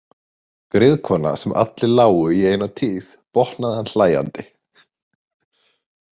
Griðkona sem allir lágu í eina tíð, botnaði hann hlæjandi.